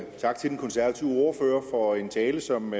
tak til den konservative ordfører for en tale som